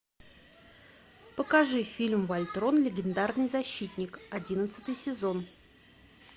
покажи фильм вольтрон легендарный защитник одиннадцатый сезон